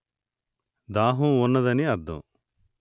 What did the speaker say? దాహంగా వున్నదని అర్థం